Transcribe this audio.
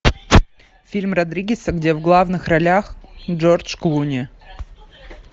фильм родригеса где в главных ролях джордж клуни